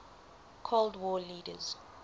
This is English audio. cold war leaders